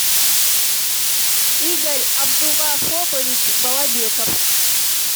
игорь абдувахопович балабеков